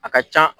A ka ca